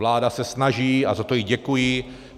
Vláda se snaží a za to jí děkuji.